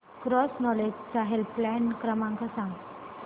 cross knowledge चा helpline क्रमांक सांगा